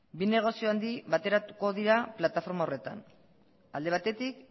bi negozio handi bateratuko dira plataforma horretan alde batetik